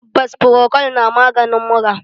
Tabbas, frokol na maganin mura